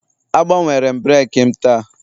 Agbanwere m breeki m taa